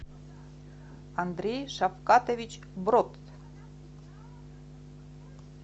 андрей шапкатович брот